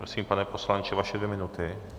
Prosím, pane poslanče, vaše dvě minuty.